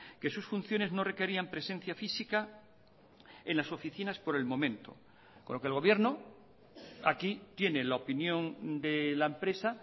que sus funciones no requerían presencia física en las oficinas por el momento con lo que el gobierno aquí tiene la opinión de la empresa